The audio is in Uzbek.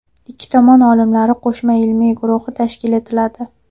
Ikki tomon olimlari qo‘shma ilmiy guruhi tashkil etiladi.